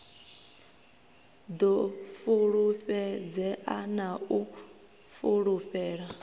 ḓo fulufhedzea na u fulufhela